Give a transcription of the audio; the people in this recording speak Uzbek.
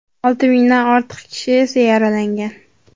Olti mingdan ortiq kishi esa yaralangan.